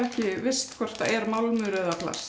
ekki visst hvort er málmur eða plast